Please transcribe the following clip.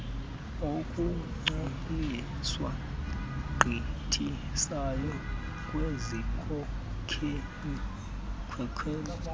okungcoliswa agqithisayo kwizikhokelo